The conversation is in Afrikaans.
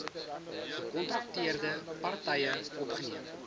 gekontrakteerde partye opgeneem